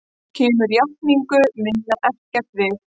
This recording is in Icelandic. Kemur játningu minni ekkert við.